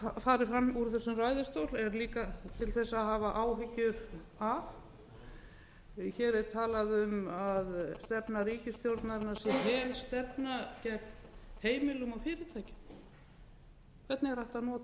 er líka til þess að hafa áhyggjur af hér er talað um að stefna ríkisstjórnarinnar sé helstefna gegn heimilum og fyrirtækjum hvernig er hægt að nota svona orð